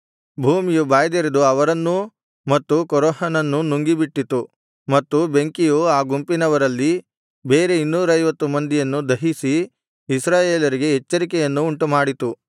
ಭೂಮಿಯು ಬಾಯ್ದೆರೆದು ಅವರನ್ನೂ ಮತ್ತು ಕೋರಹನನ್ನೂ ನುಂಗಿಬಿಟ್ಟಿತು ಮತ್ತು ಬೆಂಕಿಯು ಆ ಗುಂಪಿನವರಲ್ಲಿ ಬೇರೆ ಇನ್ನೂರೈವತ್ತು ಮಂದಿಯನ್ನು ದಹಿಸಿ ಇಸ್ರಾಯೇಲರಿಗೆ ಎಚ್ಚರಿಕೆಯನ್ನು ಉಂಟುಮಾಡಿತು